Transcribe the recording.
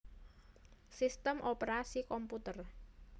Sistem Operasi komputer